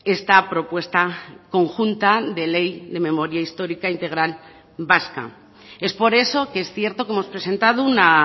esta propuesta conjunta de ley de memoria histórica integral vasca es por eso que es cierto que hemos presentado una